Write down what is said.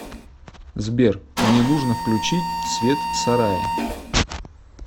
сбер мне нужно включить свет в сарае